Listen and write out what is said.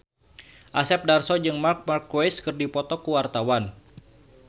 Asep Darso jeung Marc Marquez keur dipoto ku wartawan